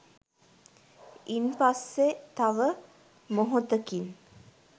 ඉන් පස්සෙ තව මොහොතකින්